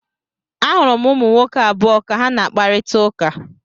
Ahụrụ m ụmụ nwoke abụọ ka ha na-akparịta ụka.